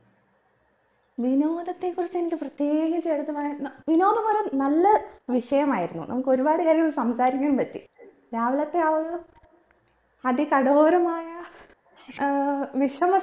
വിനോദത്തെ കുറിച്ച് എനിക്ക് പ്രതേകിച്ച് എടുത്ത് പറയാൻ ന്ന വിനോദം ഒര് നല്ല വിഷയമായിരുന്നു നമുക്ക് ഒരുപാട് നേരം സംസാരിക്കാൻ പറ്റി രാവിലത്തെ ആ ഒരു അതികടോരമായ ഏർ വിശ്രമ